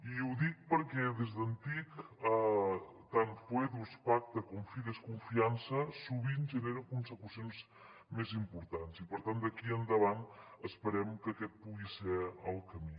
i ho dic perquè des d’antic tant foedus pacte com neren consecucions més importants i per tant d’aquí endavant esperem que aquest pugui ser el camí